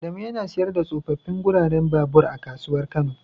Adamu yana siyar da tsofaffin guraren babur a kasuwar kano.